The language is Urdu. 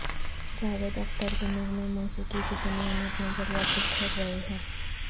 جاوید اختر کے نغمے موسیقی کی دنیا میں اپنا جلوہ بکھیر رہے ہیں